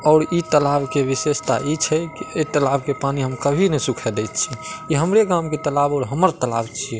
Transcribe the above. और ई तालाब के विशेषता ई छे की ए तालाब के पानी हम कभी ना सूखे देइ छी। ई हमरे गाँव के तालाब और हमार तालाब छी।